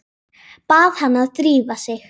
Bað hana að drífa sig.